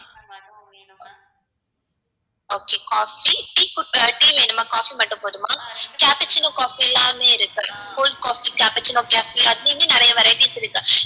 okay coffee tea வேணுமா coffee மட்டும் போதுமா cappuccino coffee எல்லாமே இருக்கு cold coffee cappuccino coffee நிறைய varieties இருக்கு